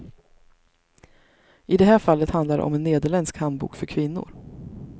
I det här fallet handlar det om en nederländsk handbok för kvinnor.